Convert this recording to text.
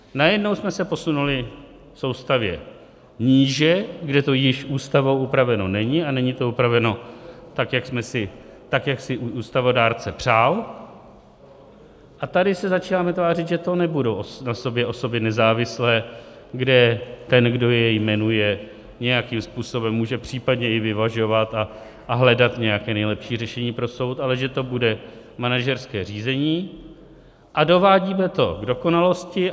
Najednou jsme se posunuli v soustavě níže, kde to již Ústavou upraveno není, a není to upraveno tak, jak si ústavodárce přál, a tady se začínáme tvářit, že to nebudou na sobě osoby nezávislé, kde ten, kdo je jmenuje, nějakým způsobem může případně i vyvažovat a hledat nějaké nejlepší řešení pro soud, ale že to bude manažerské řízení, a dovádíme to k dokonalosti.